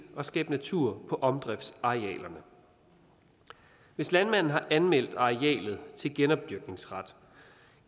at skabe natur på omdriftsarealerne hvis landmanden har anmeldt arealet til genopdyrkningsret